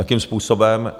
Jakým způsobem...